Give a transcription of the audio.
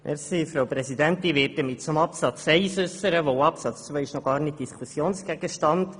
Ich werde mich zu Absatz 1 äussern, zumal Absatz 2 noch gar nicht Gegenstand der Diskussion ist.